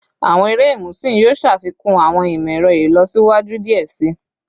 Awọn ere imusin yoo ṣafikun awọn imọ-ẹrọ ilọsiwaju diẹ sii